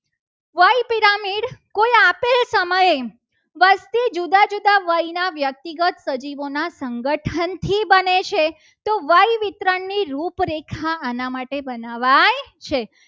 વસ્તી જુદા જુદા વયના વ્યક્તિગત સજીવોના સંગઠનથી બને છે. તો વિતરણની રૂપરેખા આના માટે બનાવાય છે.